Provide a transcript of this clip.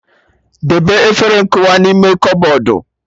Debe efere nkụwa n'ime kọbọdụ